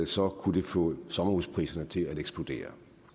så kunne det få sommerhuspriserne til at eksplodere